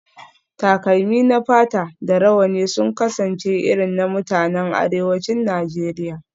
Takalmi na fata da rawani sun kasance irin na mutanen arewacin Najeriya